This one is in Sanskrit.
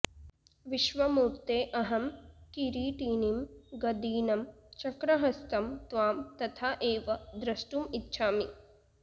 विश्वमूर्ते अहं किरीटिनं गदिनं चक्रहस्तं त्वां तथा एव द्रष्टुम् इच्छामि